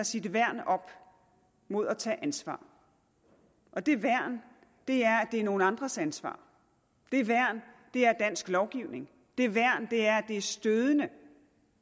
sit værn op mod at tage ansvar og det værn er at det er nogle andres ansvar det værn er dansk lovgivning det værn er at det er stødende